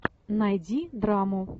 найди драму